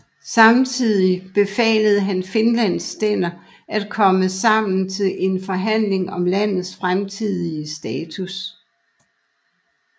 Samtidig befalede han Finlands stænder at komme sammen til en forhandling om landets fremtidige status